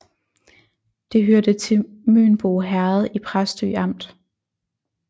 Det hørte til Mønbo Herred i Præstø Amt